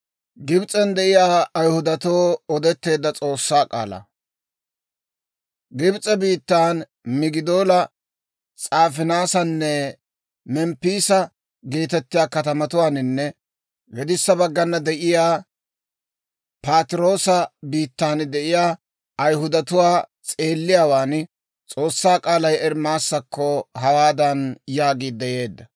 Gibs'e biittan Migidoola, S'aafinaasanne Memppiisa geetettiyaa katamatuwaaninne gedissa baggana de'iyaa Patiroosa biittan de'iyaa Ayihudatuwaa s'eelliyaawaan S'oossaa k'aalay Ermaasakko hawaadan yaagiidde yeedda;